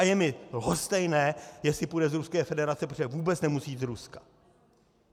A je mi lhostejné, jestli půjde z Ruské federace, protože vůbec nemusí jít z Ruska.